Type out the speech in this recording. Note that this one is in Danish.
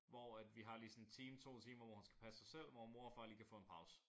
Hvor at vi har lige sådan en time 2 timer hvor hun skal passe sig selv hvor mor og far lige kan få en pause